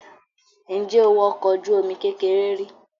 Ǹjẹ́ o wọ ọkọ̀ ojú-omi kékeré rí?